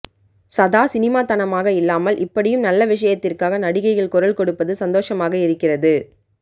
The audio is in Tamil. சதா சினிமாத்தனமாக இல்லாமல் இப்படியும் நல்ல விஷயத்திற்காக நடிகைகள் குரல் கொடுப்பது சந்தோஷமாக இருக்கிறது